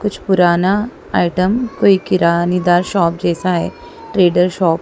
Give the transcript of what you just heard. कुछ पुराना आइटम कोई किरानीदार शॉप जैसा है ट्रेडर शॉप --